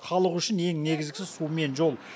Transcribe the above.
халық үшін ең негізгісі су мен жол